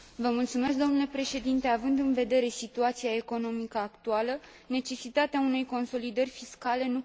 Având în vedere situația economică actuală, necesitatea unei consolidări fiscale nu poate fi ignorată.